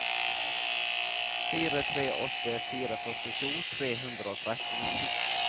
fire tre åtte fire førtito tre hundre og tretten